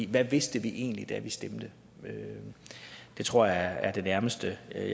hvad vidste vi egentlig da vi stemte det tror jeg er det nærmeste jeg